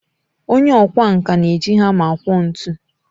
Onye ọkwá nkà na-eji hama akwọ ntu